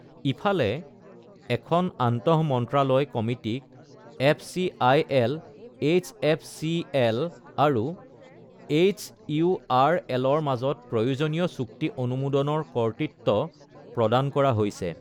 ইফালে, এখন আন্তঃমন্ত্ৰালয় কমিটিক এফচিআইএল এইচএফচিএল আৰু এইচইউআৰএলৰ মাজত প্ৰয়োজনীয় চুক্তি অনুমোদনৰ কৰ্তৃত্ব প্ৰদান কৰা হৈছে।